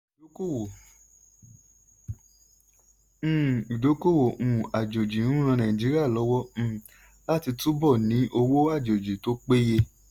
uhm ìdókòwò uhm àjòjì ń ran Nàìjíríà lọ́wọ́ uhm láti túbọ̀ ní owó àjòjì tó péye.